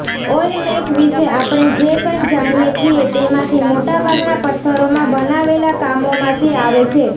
ઓલમેક વિશે આપણે જે કંઈ જાણીએ છીએ તેમાંથી મોટાભાગના પથ્થરોમાં બનાવેલા કામોમાંથી આવે છે